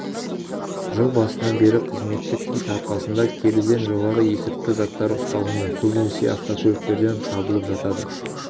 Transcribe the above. жыл басынан бері қызметтік ит арқасында келіден жоғары есірткі заттары ұсталынды көбінесе автокөліктерден табылып жатады